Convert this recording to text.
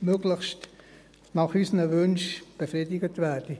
möglichst nach unseren Wünschen zufriedengestellt werden.